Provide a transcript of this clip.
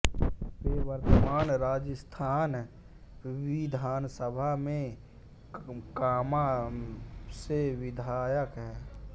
वे वर्तमान राजस्थान विधानसभा में कामां से विधायक हैं